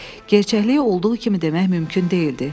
Gerçəkliyi olduğu kimi demək mümkün deyildi.